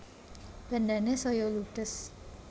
Bandhane saya ludhes